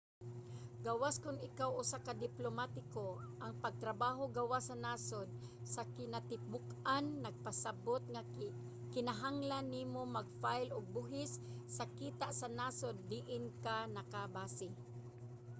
gawas kon ikaw usa ka diplomatiko ang pagtrabaho gawas sa nasod sa kinatibuk-an nagpasabot nga kinahanglan nimo mag-file og buhis sa kita sa nasod diin ka nakabase